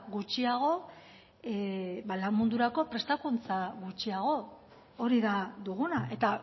gutxiago ba lan mundurako prestakuntza gutxiago hori da duguna eta